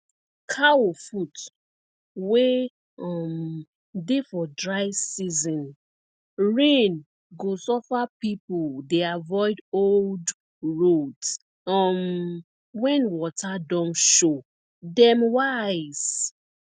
cow foot wey um dey for dry season rain go suffer people dey avoid old roads um when water don show dem wise